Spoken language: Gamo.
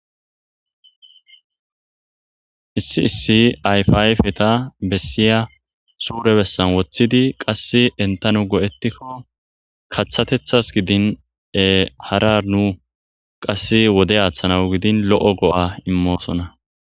issi issi ayfa ayfeta bessiya suure bessan woththidi qass entanu go7etikko kaththatethas gidine-hara nu qasse wode aaththanawu gidin lo7o go7a immoosona